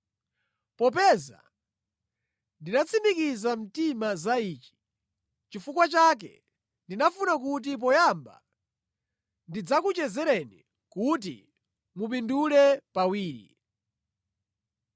Popeza ndinatsimikiza mtima za ichi, nʼchifukwa chake ndinafuna kuti poyamba, ndidzakuchezereni kuti mupindule pawiri.